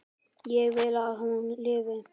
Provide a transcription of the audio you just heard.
Ég vil að hún lifi.